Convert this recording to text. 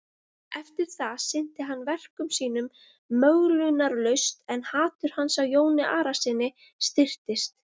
Eftir það sinnti hann verkum sínum möglunarlaust en hatur hans á Jóni Arasyni styrktist.